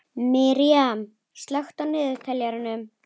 Miriam, slökktu á niðurteljaranum.